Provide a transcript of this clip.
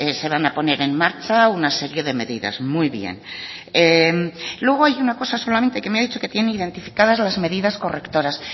se van a poner en marcha una serie de medidas muy bien luego hay una cosa solamente que me ha dicho que tiene identificadas las medidas correctoras